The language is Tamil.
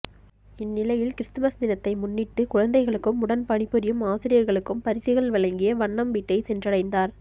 இந்நிலையில் கிறிஸ்துமஸ் தினத்தை முன்னிட்டு குழந்தைகளுக்கும் உடன் பணிபுரியும் ஆசிரியர்களுக்கும் பரிசுகள் வழங்கிய வண்ணம் வீட்டை சென்றடைந்தார்